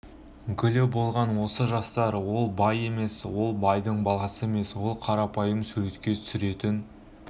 гүлі болған осы жастар ол бай емес ол байдың баласы емес ол қарапайым суретке түсіретін